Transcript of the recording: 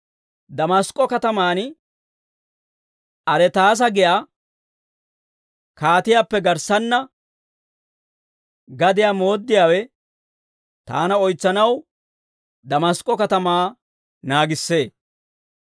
Damask'k'o katamaan Aretaasa giyaa kaatiyaappe garssanna gadiyaa mooddiyaawe, taana oytsanaw Damask'k'o Katamaa naagissee.